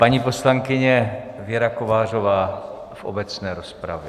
Paní poslankyně Věra Kovářová v obecné rozpravě.